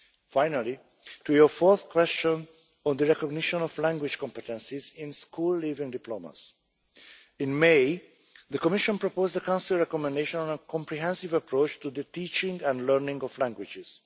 Finally, to your fourth question on the recognition of language competencies in school leaving diplomas in May the Commission proposed the Council recommendation on a comprehensive approach to the teaching and learning of languages.